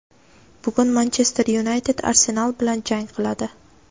bugun "Manchester Yunayted" "Arsenal" bilan jang qiladi.